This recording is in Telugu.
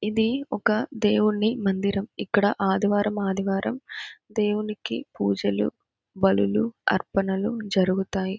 ఇది ఒక దేవుని మందిరం ఇక్కడ ఆదివారం ఆదివారం దేవునికి పూజలు బలులు అర్పణలు జరుగుతాయి.